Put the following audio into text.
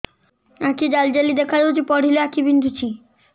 ଆଖି ଜାଲି ଜାଲି ଦେଖାଯାଉଛି ପଢିଲେ ଆଖି ବିନ୍ଧୁଛି